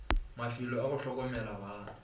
mafelo a go hlokomela bana